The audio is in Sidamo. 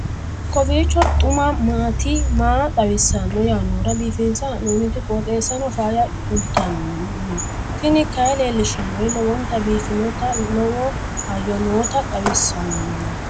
kowiicho xuma mtini maa xawissanno yaannohura biifinse haa'noonniti qooxeessano faayya kultanno tini kayi leellishshannori lowonta biiffinota lowo hayyo nooota xawisannio